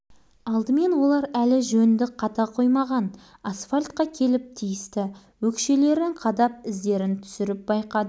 жартылай асфальтталынған алаңқайдың арғы шетінде моторлы каток қаңтарулы қалды аяқ киіміңді аямасаң болғаны асфальт беті әжептәуір